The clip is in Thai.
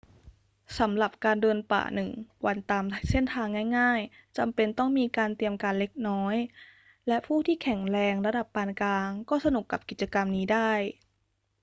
สำหรับการเดินป่าหนึ่งวันตามเส้นทางง่าย ๆ จำเป็นต้องมีการเตรียมการเล็กน้อยและผู้ที่แข็งแรงระดับปานกลางก็สนุกกับกิจกรรมนี้ได้